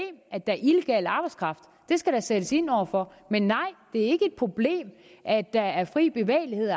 at der er illegal arbejdskraft det skal der sættes ind over for men nej det er ikke et problem at der er fri bevægelighed